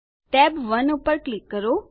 tab 1 પર click કરો